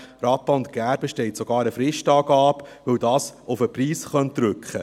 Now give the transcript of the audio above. Rappa und Gerber steht sogar eine Fristangabe –, weil das auf den Preis drücken könnte.